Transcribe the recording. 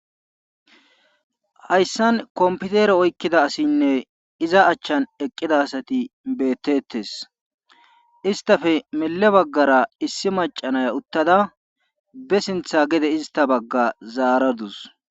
hayssan kompitere oykkida asinne iza achchan eqqida asati beettettes. istafe mele baggara issi maca naya uttada be sintha gede ista bagga zaaradus.